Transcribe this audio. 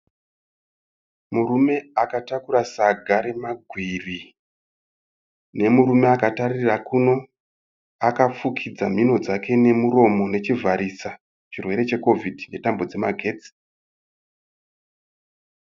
Murume akataura saga remagwiri. Nemurume atakatarira kuno akafugidza nhino dzake nemuromo nechivharisa chirwe che kovidhi netambo dzemagetsi.